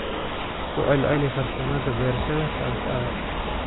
Ku celceli farsamada beerashada kontour.